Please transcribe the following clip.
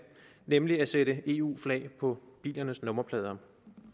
nemlig at sætte eu flag på bilernes nummerplader